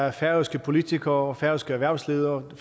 af færøske politikere og færøske erhvervsledere